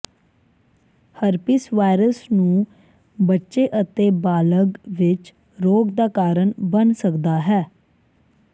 herpes virus ਨੂੰ ਬੱਚੇ ਅਤੇ ਬਾਲਗ ਵਿੱਚ ਰੋਗ ਦਾ ਕਾਰਨ ਬਣ ਸਕਦਾ ਹੈ